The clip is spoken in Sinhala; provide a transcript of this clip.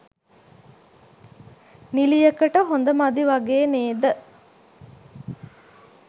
නිළියකට හොඳ මදි වගේ නේද?